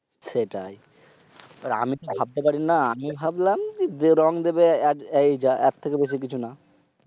সেটাই। আমিতো ভাবতে পারিনা। আমি ভাবলাম এই রং দিবে এর থেকে বেশি কিছুনা।